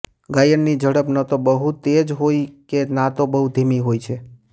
ગાયનની ઝડપ નતો બહુ તેજ હોય કે નતો બહુ ધીમી હોય છે